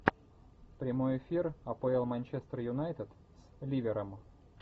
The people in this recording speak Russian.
прямой эфир апл манчестер юнайтед с ливером